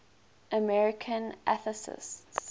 american atheists